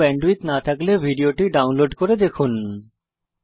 ভাল ব্যান্ডউইডথ না থাকলে ভিডিও টি ডাউনলোড করে দেখুন